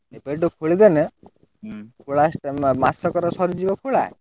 ଏବେ ଠୁ ଖୋଳିଦେଲେ ଖୋଳା ମାସକରେ ସରିଯିବ ଖୋଳା?